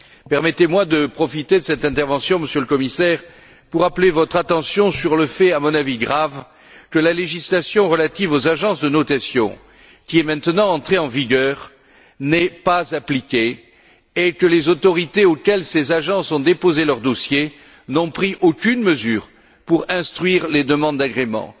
Permettez moi de profiter de cette intervention, Monsieur le Commissaire, pour attirer votre attention sur le fait à mon avis grave que la législation relative aux agences de notation, qui est maintenant entrée en vigueur, n'est pas appliquée et que les autorités auprès desquelles ces agences ont déposé leur dossier n'ont pris aucune mesure pour instruire les demandes d'agrément.